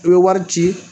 I bɛ wari ci